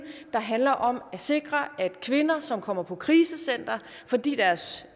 handler om at sikre at kvinder som kommer på krisecenter fordi deres